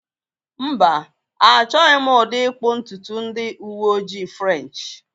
Mba, Achọghị m ụdị ịkpụ ntutu ndị uwe ojii French